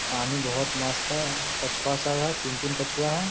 पानी बहुत मस्त है। कछुआ सब है तीन-तीन कछुआ है।